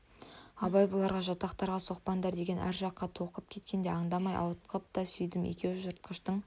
абай бұларға жатақтарға соқпандар деген әр жаққа толқып кеткенде андамай ауытқып та сүйдім екеуі жыртқыштың